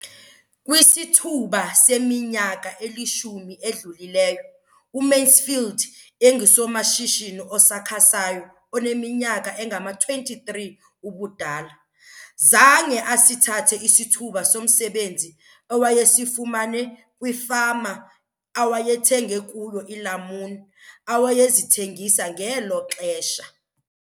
Kwisithuba seminyaka elishumi edlulileyo, uMansfield engusomashishini osakhasayo oneminyaka engama-23 ubudala, zange asithathe isithuba somsebenzi awayesifumane kwifama awayethenge kuyo iilamuni awayezithengisa ngelo xesha.